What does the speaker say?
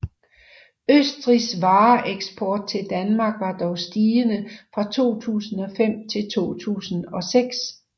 Østrigs vareeksport til Danmark var dog stigende fra 2005 til 2006